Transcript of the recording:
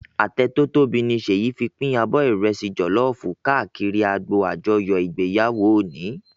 Atẹ tò tóbi ni Seyi fin pin ábò ìrẹsì jòlòfú kàákìrí ágbó ájòyò igbéyáwó óni